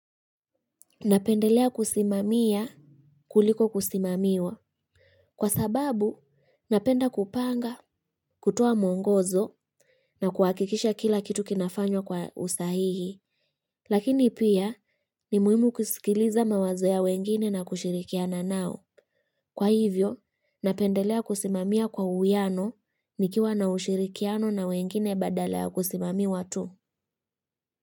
Napendelea kusimamia kuliko kusimamiwa. Kwa sababu, napenda kupanga, kutoa mwongozo na kuhakikisha kila kitu kinafanywa kwa usahihi. Lakini pia, ni muhimu kusikiliza mawazo ya wengine na kushirikiana nao. Kwa hivyo, napendelea kusimamia kwa uwiano nikiwa na ushirikiano na wengine badala ya kusimamiwa tu.